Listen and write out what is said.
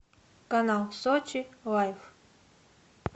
канал сочи лайф